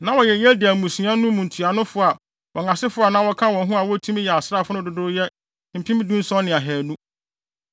Na wɔyɛ Yediael mmusua no mu ntuanofo a wɔn asefo a na wɔka wɔn ho a wotumi yɛ asraafo no dodow yɛ mpem dunson ne ahannu (17,200).